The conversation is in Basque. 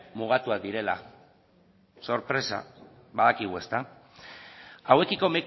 mugatuak direla sorpresa badakigu ezta hauekiko